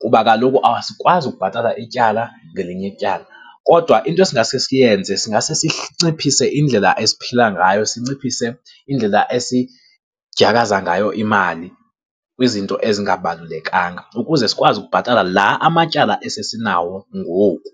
kuba kaloku asikwazi ukubhatala ityala ngelinye ityala. Kodwa into esingasesiyenze sinciphise indlela esiphila ngayo, sinciphise indlela esidyakaza ngayo imali kwizinto ezingabalulekanga ukuze sikwazi ukubhatala la amatyala esesinawo ngoku.